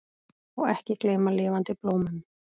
Og ekki gleyma lifandi blómum!